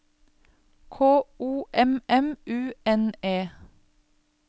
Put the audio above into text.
K O M M U N E